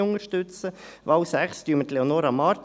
Bei der Wahl 6 unterstützen wir Leonora Marti.